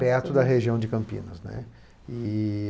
Perto da região de Campinas, né. E...